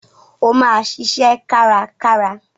O máa ṣiṣẹ́ karákára.